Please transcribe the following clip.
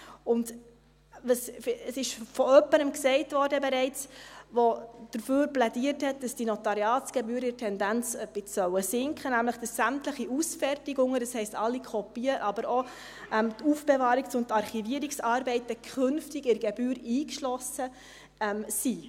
Es wurde bereits von jemandem gesagt, der dafür plädiert hat, dass die Notariatsgebühren in der Tendenz ein bisschen sinken sollen, nämlich: dass sämtliche Ausfertigungen – das heisst: alle Kopien, aber auch die Aufbewahrungs- und Archivierungsarbeiten – künftig in der Gebühr eingeschlossen sind.